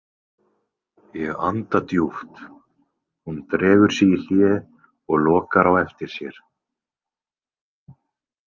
Ég anda djúpt, hún dregur sig í hlé og lokar á eftir sér.